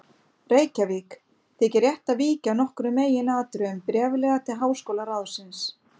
Reykjavík, þykir rétt að víkja að nokkrum meginatriðum bréflega til háskólaráðsins.